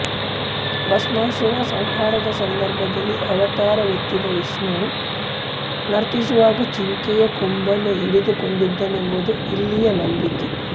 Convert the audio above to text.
ಭಸ್ಮಾಸುರನ ಸಂಹಾರದ ಸಂದರ್ಭದಲ್ಲಿ ಅವತಾರವೆತ್ತಿದ ವಿಷ್ಣುವು ನರ್ತಿಸುವಾಗ ಜಿಂಕೆಯ ಕೊಂಬನ್ನು ಹಿಡಿದುಕೊಂಡಿದ್ದನೆಂಬುದು ಇಲ್ಲಿಯ ನಂಬಿಕೆ